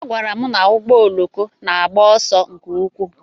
A gwara m na ụgbọ oloko na-agba ọsọ nke ukwuu.